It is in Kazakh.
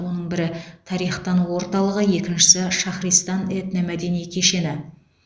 оның бірі тарих тану орталығы екіншісі шахристан этномәдени кешені